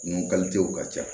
Nun ka ca